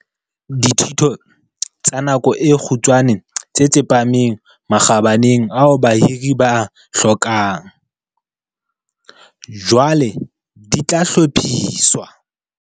Dithuto tsa nako e kgutshwane tse tsepameng makgabaneng ao bahiri ba a hlokang, jwale di tla hlophiswa.